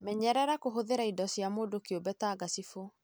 Menyerera kũhũthĩra indo cia mũndũ kĩumbe ta ngacibu.